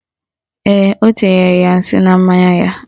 Ee, o tinyere ya nsị na mmanya ya